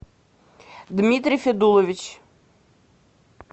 дмитрий федулович